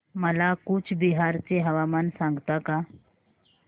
मला कूचबिहार चे हवामान सांगता का